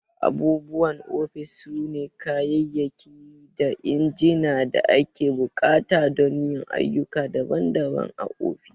Abubuwan ofis sune kayayyaki da injina da ake buƙata don yin ayyuka daban-daban a ofis.